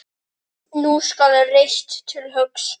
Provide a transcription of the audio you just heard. Nú skal reitt til höggs.